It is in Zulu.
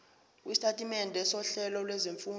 lwesitatimende sohlelo lwezifundo